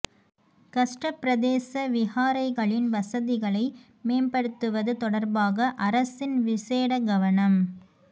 கஷ்டப் பிரதேச விஹாரைகளின் வசதிகளை மேம்படுத்துவது தொடர்பாக அரசின் விசேட கவனம்